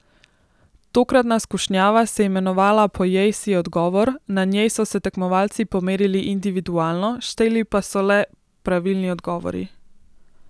Tokratna skušnjava se je imenovala Pojej si odgovor, na njej so se tekmovalci pomerili individualno, šteli pa so le pravilni odgovori.